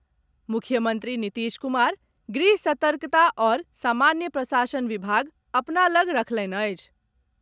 मुख्यमंत्री नीतीश कुमार गृह, सतर्कता आओर सामान्य प्रशासन विभाग अपना लग रखलनि अछि।